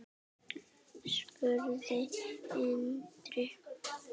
spurði Andri.